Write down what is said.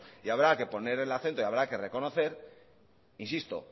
y habrá que poner el acento y habrá que reconocer insisto